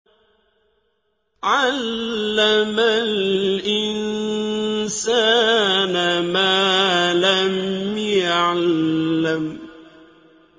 عَلَّمَ الْإِنسَانَ مَا لَمْ يَعْلَمْ